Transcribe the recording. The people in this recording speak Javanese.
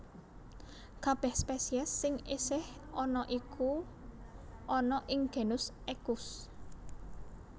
Kabèh spesies sing isih ana iku ana ing genus Equus